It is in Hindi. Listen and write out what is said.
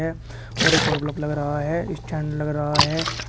और एक बलफ लग रहा है स्टैंड लग रहा है।